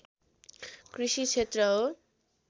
कृषि क्षेत्र हो